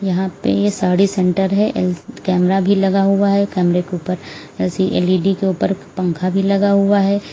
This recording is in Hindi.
यहां पर साड़ी सेंटर है कैमरा भी लगा हुआ है कैमरे के ऊपर एल ई डी के ऊपर पंखा भी लगा हुआ है।